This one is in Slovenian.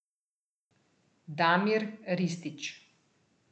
Damir Ristić.